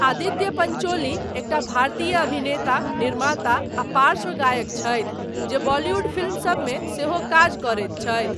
आदित्य पञ्चोली एकटा भारतीय अभिनेता, निर्माता आ पार्श्व गायक छथि, जे बॉलीवुड फिल्म सबमे सेहो काज करैत छथि ।